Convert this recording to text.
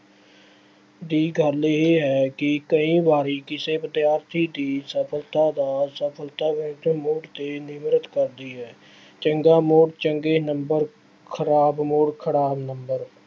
ਦੀ ਗੱਲ ਇਹ ਹੈ ਕਿ ਕਈ ਵਾਰੀ ਕਿਸੇ ਵਿਦਿਆਰਥੀ ਦੀ ਸਫਲਤਾ ਦਾ ਸਫਲਤਾ ਵਿੱਚ ਮੂੜ ਤੇ ਨਿਰਭਰ ਕਰਦੀ ਹੈ। ਚੰਗਾ ਮੂੜ ਚੰਗੇ number ਖਰਾਬ ਮੂੜ ਖਰਾਬ number